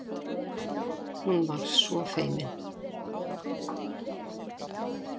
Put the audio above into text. Hún var svo feimin.